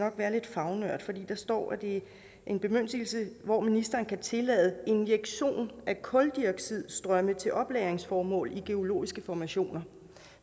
være lidt fagnørd for der står at det er en bemyndigelse hvor ministeren kan tillade injektion af kuldioxidstrømme til oplagringsformål i geologiske formationer